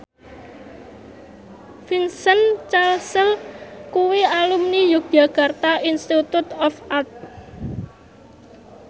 Vincent Cassel kuwi alumni Yogyakarta Institute of Art